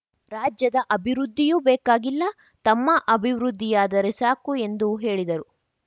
ರಾಜ್ಯದ ಅಭಿವೃದ್ಧಿಯೂ ಬೇಕಾಗಿಲ್ಲ ತಮ್ಮ ಅಭಿವೃದ್ಧಿಯಾದರೆ ಸಾಕು ಎಂದು ಹೇಳಿದರು